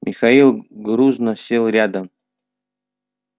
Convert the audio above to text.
михаил грузно сел рядом